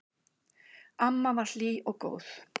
Amma var hlý og góð.